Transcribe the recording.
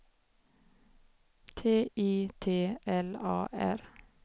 T I T L A R